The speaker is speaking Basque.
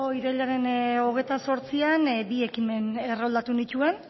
irailaren hogeita zortzian bi ekimen erroldatu nituen